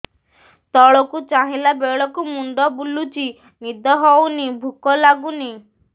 ତଳକୁ ଚାହିଁଲା ବେଳକୁ ମୁଣ୍ଡ ବୁଲୁଚି ନିଦ ହଉନି ଭୁକ ଲାଗୁନି